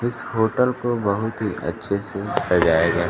इस होटल को बहुत ही अच्छे से सजाया गया